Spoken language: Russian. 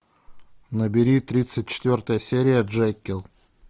набери тридцать четвертая серия джекилл